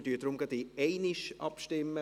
Wir stimmen deshalb gerade in einem ab.